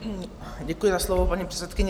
Děkuji za slovo, paní předsedkyně.